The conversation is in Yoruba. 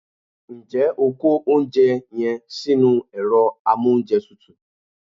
Njé o kó oúnjẹ yen sínú èro amóúnjetutù